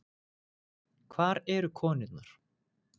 Hvar eru konurnar?